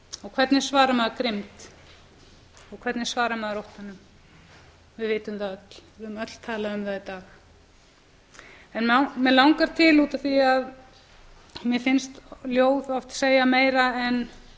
hvernig svarar maður grimmd og hvernig svarar maður óttanum við vitum það öll við höfum öll talað um það í dag mig langar til út af því að mér finnst ljóð oft segja meira en